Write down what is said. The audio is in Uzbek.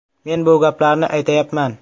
Men bu gaplarni aytayapman.